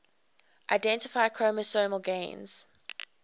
identify chromosomal gains